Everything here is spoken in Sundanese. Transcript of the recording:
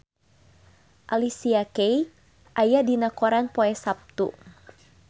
Alicia Keys aya dina koran poe Saptu